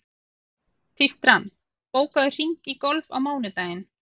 Tístran, bókaðu hring í golf á mánudaginn.